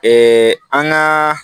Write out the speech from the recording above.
an ka